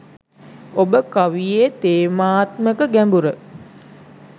ඔබ කවියේ තේමාත්මක ගැඹුර